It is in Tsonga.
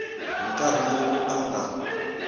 hi nkarhi lowu a nga